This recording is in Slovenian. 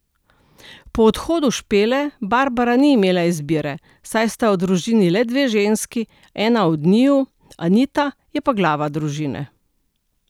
Po odhodu Špele, Barbara ni imela izbire, saj sta v družini le dve ženski, ena od njiju, Anita, je pa glava družine.